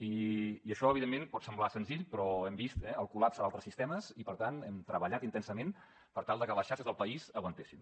i això evidentment pot semblar senzill però hem vist eh el col·lapse d’altres sistemes i per tant hem treballat intensament per tal de que les xarxes del país aguantessin